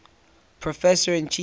professor and chief of